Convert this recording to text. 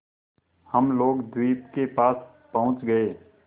हम लोग द्वीप के पास पहुँच गए